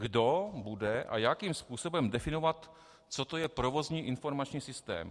Kdo bude a jakým způsobem definovat, co to je provozní informační systém?